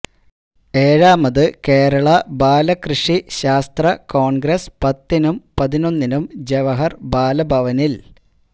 ഏഴാമത് കേരള ബാലകൃഷി ശാസ്ത്ര കോൺഗ്രസ്സ് പത്തിനും പതിനൊന്നിനും ജവഹർ ബാലഭവനിൽ